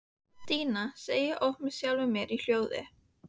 Díana, segi ég oft með sjálfri mér í hljóði.